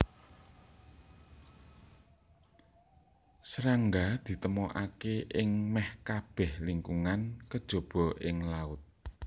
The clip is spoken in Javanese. Srangga ditemokaké ing mèh kabèh lingkungan kejaba ing laut